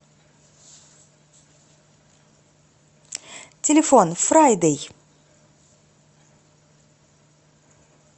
телефон фрайдэй